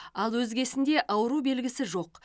ал өзгесінде ауру белгісі жоқ